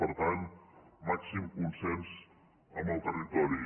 per tant màxim consens amb el territori